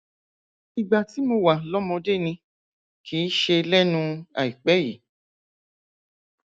ìgbà tí mo wà lọmọdé ni kì í ṣe lẹnu àìpẹ yìí